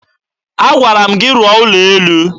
Agwara m gị rụọ ụlọ elu!